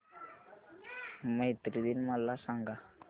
मैत्री दिन मला सांगा